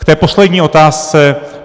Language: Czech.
K té poslední otázce.